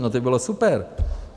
No to by bylo super!